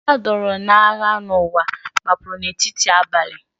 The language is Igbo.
Ndị a dọọrọ n’agha n’ụwa gbapụrụ n’etiti abalị.